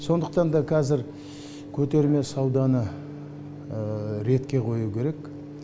сондықтан да кәзір көтерме сауданы ретке қою керек